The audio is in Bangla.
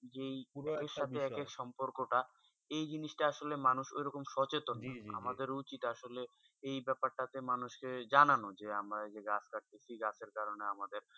জি পুরো সোম জিয়া সম্পর্ক তা এই জিনিস তা আসলে মানুষ ওই রকম সচেত না জি জি আমাদের উচিত যে এই ব্যাপার তা মানুষ দেড় জানানো যে আমরা পৃথ্বি গাছে কারণে আমাদের